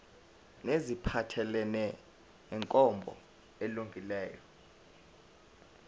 neziphathelene nenkambo elungileyo